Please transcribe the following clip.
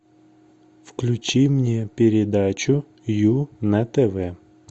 включи мне передачу ю на тв